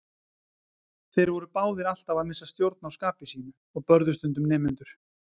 Þeir voru báðir alltaf að missa stjórn á skapi sínu og börðu stundum nemendur.